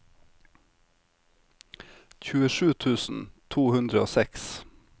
tjuesju tusen to hundre og seks